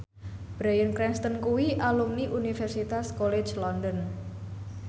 Bryan Cranston kuwi alumni Universitas College London